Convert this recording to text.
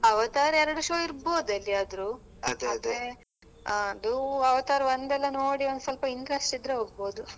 Avatar ಎರಡು show ಇರ್ಬಹುದೆಲ್ಲಿಯಾದ್ರೂ oevrlap ಅದು Avatar ಒಂದೆಲ್ಲ ನೋಡಿ ಒಂದ್ ಸ್ವಲ್ಪ interest ಇದ್ರೆ ಹೋಗ್ಬಹುದು.